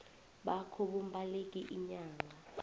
bakho bombaleki iinyanga